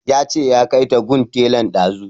Ya ce ya kai ta gun tailan ɗazu